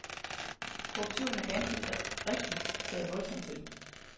Korruptionen er ganske rigtigt taget voldsomt til.